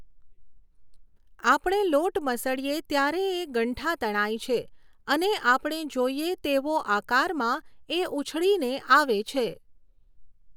આપણે લોટ મસળીએ ત્યારે એ ગંઠા તણાય છે અને આપણે જોઈએ તેવો આકારમાં એ ઊછળીને આવે છે.